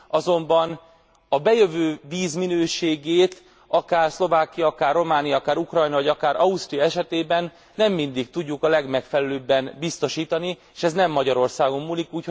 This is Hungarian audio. azonban a bejövő víz minőségét akár Szlovákia, akár Románia, akár Ukrajna vagy akár Ausztria esetében nem mindig tudjuk a legmegfelelőbben biztosítani, s ez nem Magyarországon múlik.